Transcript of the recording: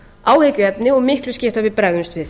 áhyggjuefni og miklu skipta að við bregðumst við